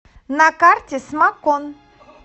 на карте смакон